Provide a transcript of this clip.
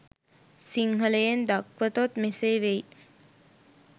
සිංහලයෙන් දක්වතොත් මෙසේ වෙයි.